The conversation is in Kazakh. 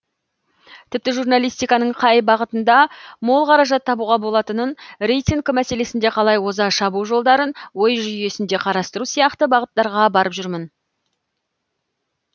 тіпті журналистиканың қай бағытында мол қаражат табуға болатынын рейтинг мәселесінде қалай оза шабу жолдарын ой жүйесінде қарастыру сияқты бағыттарға барып жүрмін